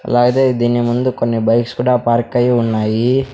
అలాగే దీన్ని ముందు కొన్ని బైక్స్ కూడా పార్క్ అయి ఉన్నాయి.